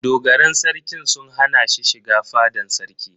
Dogaran Sarkin sun hana ni shiga fadan sarki.